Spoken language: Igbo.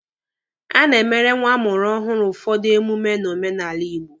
A na-emere nwa amụrụ ọhụrụ ụfọdụ emume n'omenala Igbo.